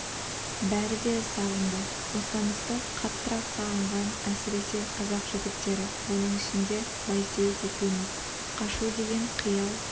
бәрі де сағынды бостандықты қаттырақ сағынған әсіресе қазақ жігіттері оның ішінде байсейіт екеуіміз қашу деген қиял